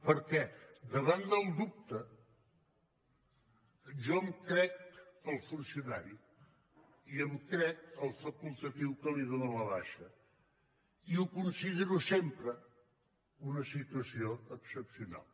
perquè davant del dubte jo em crec el funcionari i em crec el facultatiu que li dóna la baixa i ho considero sempre una situació excepcional